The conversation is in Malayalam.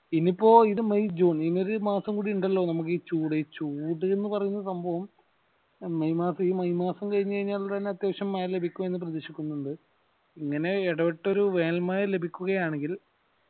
ഇനീപ്പോ ഇത് മെയ് ജൂൺ ഇനിയൊരു മാസം കൂടി ഇണ്ടല്ലോ നമുക്ഈ ചൂട് ഈ ചൂട് ന്നു പറയുന്ന സംഭവം മെയ് മാസം ഈ മെയ് മാസം കൈഞ്ഞുകൈഞ്ഞാൽ തന്നെ ലഭിക്കും എന്ന് പ്രതീക്ഷിക്കുന്നുണ്ട് ഇങ്ങനെ ഇടവെട്ടൊരു വേനൽ മഴ ലഭിക്കുകയാണെങ്കിൽ